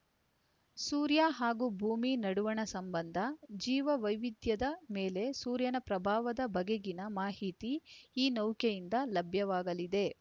ಸೂರ್ಯ ಹಾಗೂ ಭೂಮಿ ನಡುವಣ ಸಂಬಂಧ ಜೀವ ವೈವಿಧ್ಯದ ಮೇಲೆ ಸೂರ್ಯನ ಪ್ರಭಾವದ ಬಗೆಗಿನ ಮಾಹಿತಿ ಈ ನೌಕೆಯಿಂದ ಲಭ್ಯವಾಗಲಿದೆ